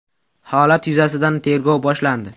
Holat yuzasidan tergov boshlandi.